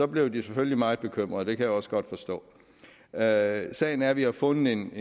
blev de selvfølgelig meget bekymrede og jeg også godt forstå sagen sagen er at vi har fundet en